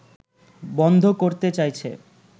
বন্ধ করতে চাইছে